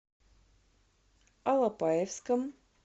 алапаевском